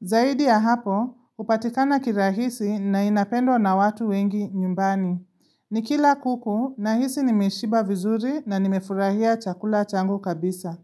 Zaidi ya hapo, upatikana kirahisi na inapendo na watu wengi nyumbani. Ni kila kuku na hizi nimeshiba vizuri na nimefurahia chakula changu kabisa.